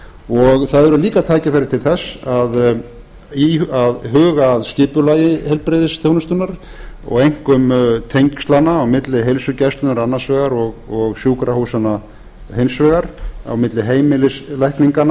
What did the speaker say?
og það eru líka tækifæri til að huga að skipulagi heilbrigðisþjónustunnar og einkum tengslanna á milli heilsugæslunnar annars vegar og sjúkrahúsanna hins vegar á milli